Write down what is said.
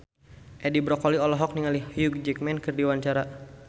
Edi Brokoli olohok ningali Hugh Jackman keur diwawancara